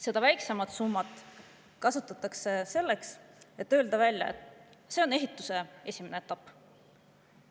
Seda väiksemat summat kasutatakse selleks, et öelda: see on ehituse esimene etapp.